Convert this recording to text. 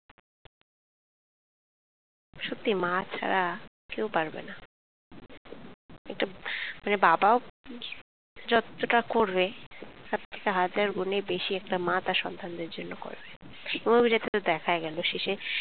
সত্যি মা ছাড়া কেউ পারবেনা টুক মানে বাবাও জ যতোটা করবে তার থেকে হাজার গুনে বেশি একটা মা তার সন্তানদের জন্য করবে। এই movie টা তে তো দেখা গেলো শেষে,